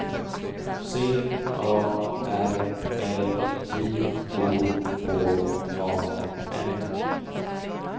C A R L J O H A N